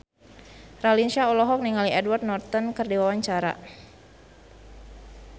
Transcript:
Raline Shah olohok ningali Edward Norton keur diwawancara